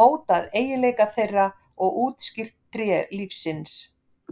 mótað eiginleika þeirra og útskýrt tré lífsins.